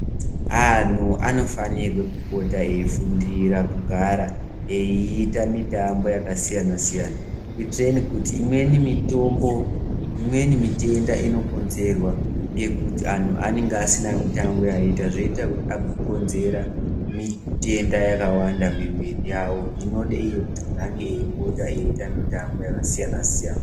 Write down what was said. Anhu anofanirwe kupota eifundira kugara eyiita mitambo yakasiyana-siyana, kuitireni kuti imweni mitombo, imweni mitenda inokonzerwa ngekuti anhu anenge asina mitambo yaaita zvoita kuti agokonzera mitenda yakawanda mumiviri yawo inode iyo kuti munhu ange eyipota eyiite mitambo yakasiyana-siyana.